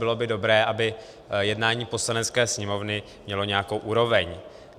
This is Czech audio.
Bylo by dobré, aby jednání Poslanecké sněmovny mělo nějakou úroveň.